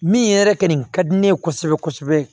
Min yɛrɛ kɛ nin ka di ne ye kosɛbɛ kosɛbɛ